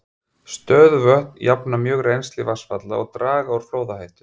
Stöðuvötn jafna mjög rennsli vatnsfalla og draga úr flóðahættu.